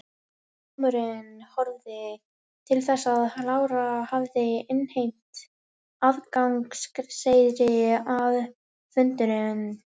Dómurinn horfði til þess að Lára hafði innheimt aðgangseyri að fundunum.